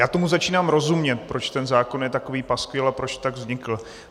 Já tomu začínám rozumět, proč ten zákon je takový paskvil a proč tak vznikl.